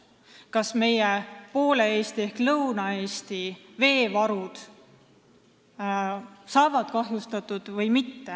Nad tahavad teada, kas poole Eesti ehk Lõuna-Eesti veevarud saavad kahjustatud või mitte.